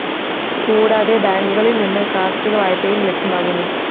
കൂടാതെ ബാങ്കുകളില്‍ നിന്ന് കാര്‍ഷിക വായ്പയും ലഭ്യമാകുന്നു